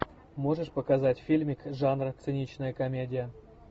можешь показать фильмик жанра циничная комедия